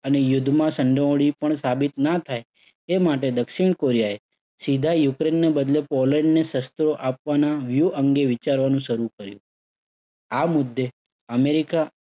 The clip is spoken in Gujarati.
અને યુદ્ધમાં સંડોવણી પણ સાબિત ના થાય તે માટે દક્ષિણ કોરિયાએ સીધા યુક્રેઇનને બદલે પોલેન્ડને શસ્ત્રો આપવાના વ્યૂહ અંગે વિચારવાનું શરુ કર્યો. આ મુદ્દે અમેરિકા